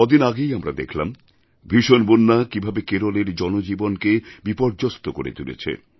কদিন আগেই আমরা দেখলাম ভীষণ বন্যা কীভাবে কেরলের জনজীবনকে বিপর্যস্ত করে তুলেছে